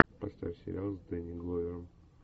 поставь сериал с дэнни гловером